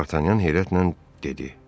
Dartanyan heyrətlə dedi.